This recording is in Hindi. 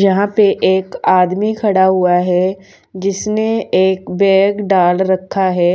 यहां पे एक आदमी खड़ा हुआ है जिसने एक बैग भी डाल रखा है